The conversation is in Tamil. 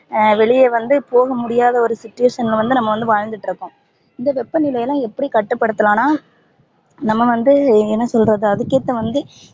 அஹ் வெளிய வந்து போக முடியாத ஒரு situation ல வந்து நம்ப வாழ்ந்துட்டு இருக்கோம் இந்த வெப்பநிலையலாம் எப்படி கட்டுபடுத்தலாம்னா நம்ப வந்து என்ன சொல்றது அதுக்கு ஏத்த வந்து